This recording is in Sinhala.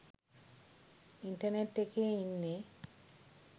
ඉන්ටර්නෙට් එකේ ඉන්නේ.